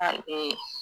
A ee